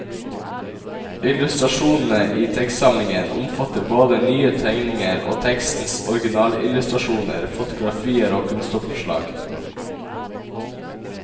Illustrasjonene i tekstsamlingen omfatter både nye tegninger og tekstens originalillustrasjoner, fotografier og kunstoppslag.